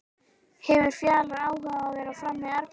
Hefur Fjalar áhuga á að vera áfram í Árbænum?